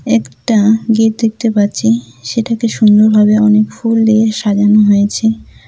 একটা গেট দেখতে পাচ্ছি সেটাকে সুন্দরভাবে অনেক ফুল দিয়ে সাজানো হয়েছে।